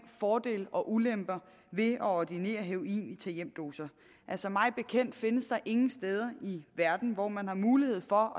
fordele og ulemper ved at ordinere heroin i tag hjem doser altså mig bekendt findes der ingen steder i verden hvor man har mulighed for